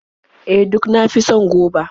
E, duk na fi son goba.